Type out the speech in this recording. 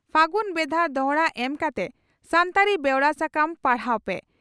ᱯᱷᱟᱹᱜᱩᱱ ᱵᱷᱮᱫᱟ ᱫᱚᱦᱲᱟ ᱮᱢ ᱠᱟᱛᱮ ᱥᱟᱱᱛᱟᱲᱤ ᱵᱮᱣᱨᱟ ᱥᱟᱠᱟᱢ ᱯᱟᱲᱦᱟᱣ ᱯᱮ